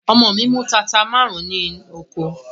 Ọmọ mi mú tata márùn-ún ní oko.